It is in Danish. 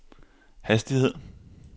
hastighed